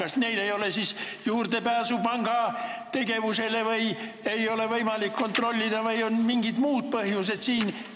Kas neil ei ole siis juurdepääsu panga tegevusele, ei ole üldse võimalik panku kontrollida või on mingid muud põhjused?